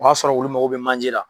O y'a sɔrɔ olu mago bɛ manje la.